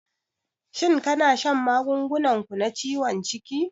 Shin kana shan magungunan ku na ciwon ciki?